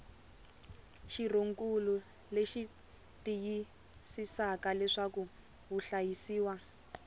xirhonkulu leyi tiyisisaka leswaku vahlayisiwa